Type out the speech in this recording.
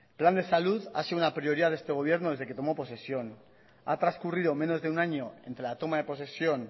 plan de salud ha sido una prioridad de este gobierno desde que tomo posesión ha transcurrido menos de un año entre la toma de posesión